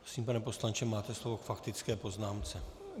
Prosím, pane poslanče, máte slovo k faktické poznámce.